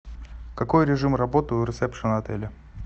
какой режим работы у ресепшена отеля